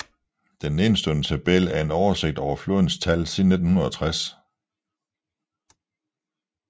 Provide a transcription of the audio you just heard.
Den nedenstående tabel er en oversigt over flådens tal siden 1960